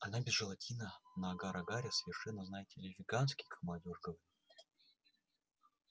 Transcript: она без желатина на агар-агаре совершенно знаете ли веганский как молодёжь говорит